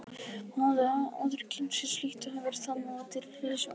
Hún hafði áður kynnt sér slíkt og hefur það nú til hliðsjónar.